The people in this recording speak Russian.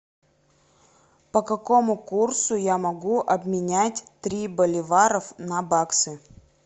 по какому курсу я могу обменять три боливаров на баксы